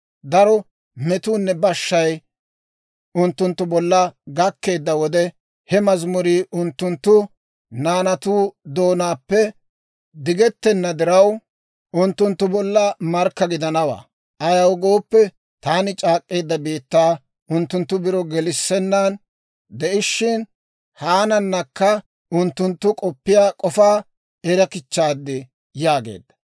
Daro metuunne bashshay unttunttu bolla gakkeedda wode, ha mazimurii unttunttu naanatu doonaappe digettenna diraw, unttunttu bolla markka gidanawaa. Ayaw gooppe, taani c'aak'k'eedda biittaa unttuntta biro gelissennan de'ishshin, haananakka unttunttu k'oppiyaa k'ofaa erakichchaad» yaageedda.